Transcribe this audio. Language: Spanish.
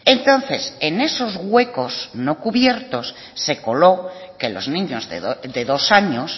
entonces en esos huecos no cubiertos se coló que los niños de dos años